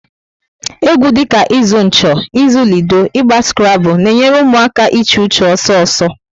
Egwu dị ka ịzụ ncho, ịzụ lido, Ịgba skrable na enyere ụmụaka iche uche ọsọ ọsọ